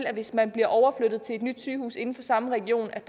at hvis man bliver overflyttet til et nyt sygehus inden for samme region